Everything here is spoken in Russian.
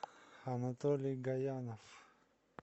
анатолий гаянов